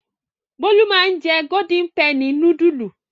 Bólú máa ń jẹ Golden penny núdúlù.